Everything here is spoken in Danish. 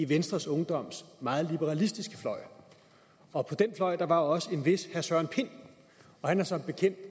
venstres ungdoms meget liberalistiske fløj og på den fløj var også en vis herre søren pind og han har som bekendt